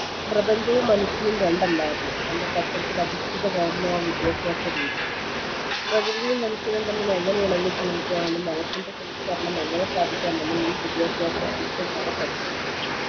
പ്രപഞ്ചവും മനുഷ്യനും രണ്ടല്ലായിരുന്നു എന്ന തത്ത്വത്തിൽ അധിഷ്ഠിതമായിരുന്നു ആ വിദ്യാഭ്യാസരീതി പ്രകൃതിയും മനുഷ്യനും തമ്മിൽ എങ്ങനെ ഇണങ്ങി ജീവിക്കാമെന്നും മനസ്സിന്റെ സംസ്കരണം എങ്ങനെ സാധിക്കാമെന്നും ഈ വിദ്യാഭ്യാസം ശിഷ്യന്മാരെ പഠിപ്പിച്ചു